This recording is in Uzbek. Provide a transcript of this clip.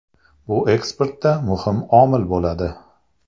Bu eksportda muhim omil bo‘ladi.